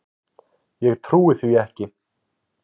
Ég trúi því ekki!